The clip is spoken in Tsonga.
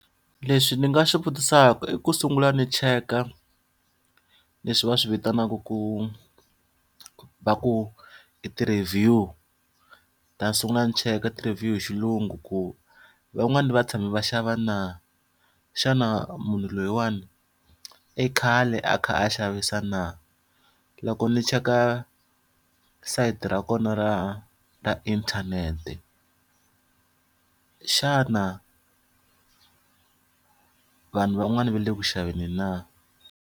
Leswi ndzi nga swi vutisaka i ku sungula ndzi cheka leswi va swi vitanaka ku va ku ti-review. Ndzi ta sungula ni cheka ti-review hi xilungu ku van'wani va tshame va xava na? Xana munhu loyiwani, i khale a kha a xavisa na? Loko ndzi cheka sayiti ra kona ra ra inthanete, xana vanhu van'wana va le ku xaveni na?